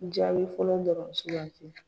Jaabi fɔlɔ dɔ na sukanti.